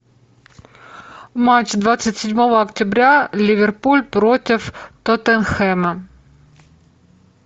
матч двадцать седьмого октября ливерпуль против тоттенхэма